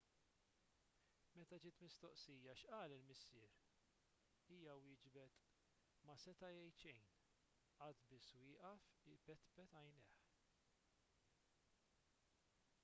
meta ġiet mistoqsija x'qal il-missier hija wieġbet ma seta' jgħid xejn qagħad biss wieqaf ipetpet għajnejh